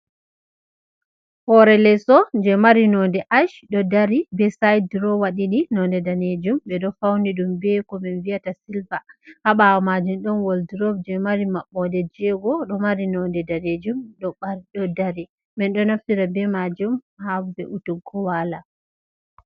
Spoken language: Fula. Hore leeso je mari nonde ash ɗo dari be said durowa ɗiɗi nonde ɗanejum ɓe ɗo fauni ɗum be ko min viyata silva ha ɓawo majum, ɗon wol drop je mari maɓɓode jego ɗo mari nonde ɗanejum ɗo dari, min ɗo naftira be majum ha ɓeutugo wala.